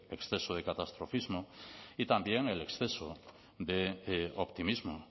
exceso de catastrofismo y también el exceso de optimismo